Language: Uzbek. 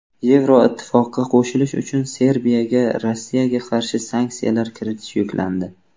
Yevroittifoqqa qo‘shilish uchun Serbiyaga Rossiyaga qarshi sanksiyalar kiritish yuklandi.